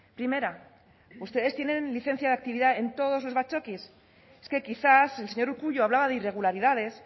primera ustedes tienen licencia de actividad en todos los batzokis es que quizás el señor urkullu hablaba de irregularidades